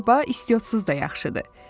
Şorba istiotsuz da yaxşıdır.